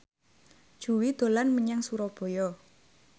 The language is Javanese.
Jui dolan menyang Surabaya